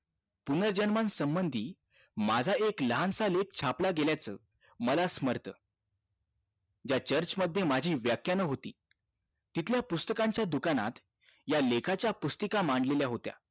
पूनर्जन्मा संबंधी माझा एक लहानसा लेख छापला गेल्याच मला स्मर्त ज्या चर्च मध्ये माझी व्याख्यान होती तिथल्या पुस्तकांच्या दुकानात या लेखाच्या पुस्तिका मांडलेल्या होत्या